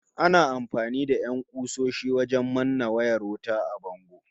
Ana amfani da 'yan ƙusoshi wajen manne wayar wuta a bango